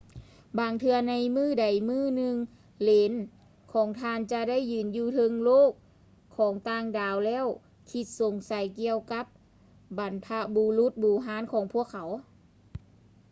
ບາງເທື່ອໃນມື້ໃດມື້ໜຶ່ງ ເຫຼນຂອງທ່ານຈະໄດ້ຢືນຢູ່ເທິງໂລກຂອງຕ່າງດາວແລ້ວຄິດສົງໄສກ່ຽວກັບບັນພະບຸລຸດບູຮານຂອງພວກເຂົາ